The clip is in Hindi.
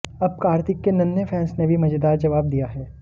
अब कार्तिक के नन्हें फैंस ने भी मजेदार जवाब दिया है